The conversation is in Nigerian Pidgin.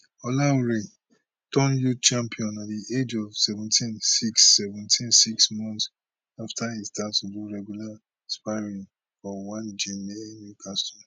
olaore turn youth champion at di age of seventeen six seventeen six months afta e start to do regular sparring for one gym near newcastle